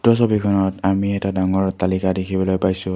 ওপৰ ছবিখনত আমি এটা ডাঙৰ অট্টালিকা দেখিবলৈ পাইছোঁ।